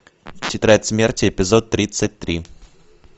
тетрадь смерти эпизод тридцать три